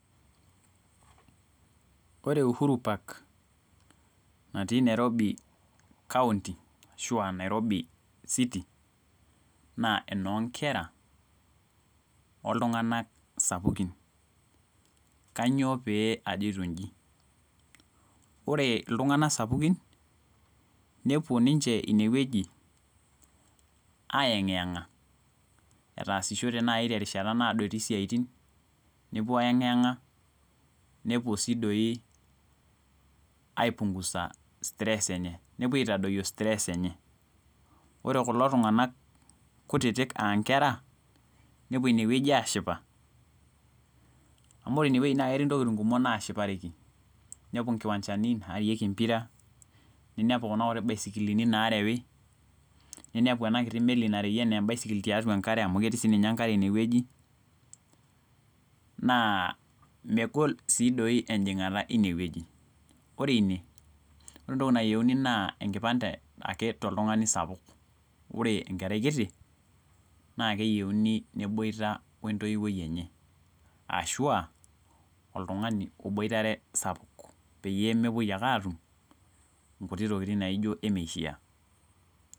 Ore uhuru park, natii nairobi kaunti, ashu aa nairobi, city naa enoonkera oltunganak sapukin. Kainyioo pee ajito ijimore iltunganak sapukin nepuo ninche aayengiyenha etasishote naji terishata naado etii isiatin. nepuo aayengiyenha. Nepuo sii doi aipungusa stress enye. Ore kulo tunganak kutitik aa nkera, nepuo ine wueji aashipa. amu ore ine wueji ketii ntokitin kutitik, naashipareki, nepuo nkiwanchani, naarieki empira. ninepu Kuna baisikilini naareyi. niniepu ena kiti meli nareyi anaa enkare, amu inepu ketii sii ninye enkare ine wueji. naa megol sii dei ejingata wine wueji. Ore ine, ore entoki nayieuni naa enkipande ake toltungani sapuk. ore enkerai kiti naa keyieuni neboita ww ntoiwuo enye. Ashu oltungani oboitarr sapuk, pee mepuoi ake atum nkutiti tokitin naijo emeishaa.